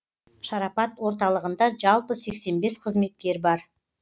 шарапат орталығында жалпы сексен бес қызметкер бар